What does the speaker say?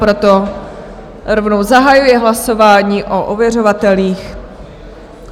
Proto rovnou zahajuji hlasování o ověřovatelích.